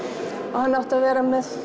og hann átti að vera með